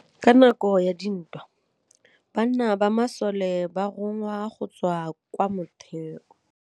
Ka nakô ya dintwa banna ba masole ba rongwa go tswa kwa mothêô.